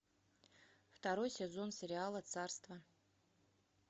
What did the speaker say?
второй сезон сериала царство